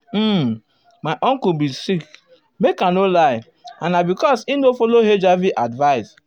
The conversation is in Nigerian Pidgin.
uhm my uncle bin sick make i no lie and na because e no follow hiv advice.